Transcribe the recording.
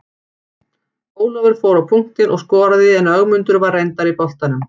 Ólafur fór á punktinn og skoraði en Ögmundur var reyndar í boltanum.